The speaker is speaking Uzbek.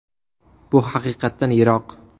Bu haqiqatdan yiroq.